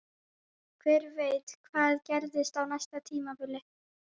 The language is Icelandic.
Hver veit hvað gerist á næsta tímabili?